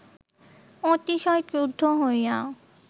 অতিশয় ক্রুদ্ধ হইয়া